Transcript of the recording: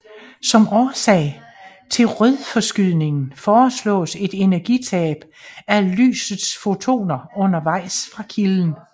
Som årsag til rødforskydningen foreslås et energitab for lysets fotoner undervejs fra kilden